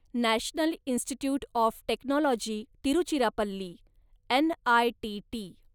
national Institute of Technology Tiruchirappalli, NITT